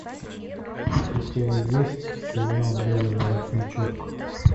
у тебя есть сериал белый воротничок